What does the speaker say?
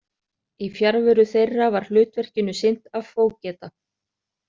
Í fjarveru þeirra var hlutverkinu sinnt af fógeta.